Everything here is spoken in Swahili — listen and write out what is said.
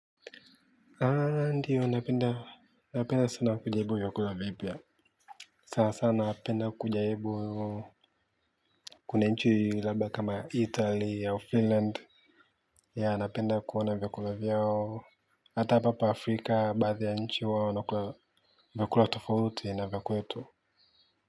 Aaa ndiyo napenda sana kujaribu vyakula vipya sana sana napenda kujaribu kuna nchi labda kama italy au finland ya napenda kuona vyakula vyao hata papa afrika baadhi ya nchi wao wanakula vyakula tofauti na vya kwetu. Kwa hivyo.